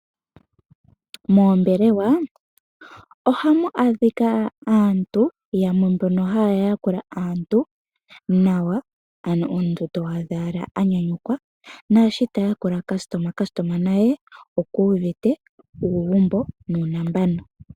Moombelewa ohamu adhika aantu yamwe mbono haya yakula aantu nawa ano omuntu to adha owala anyanyukwa naashi ta yakula omuyakulwa naye oku uvite uugumbo nuuntsa.